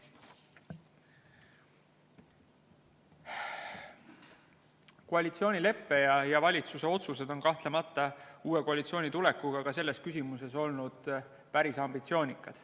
Koalitsioonilepe ja valitsuse otsused on kahtlemata uue koalitsiooni tulekuga ka selles küsimuses olnud päris ambitsioonikad.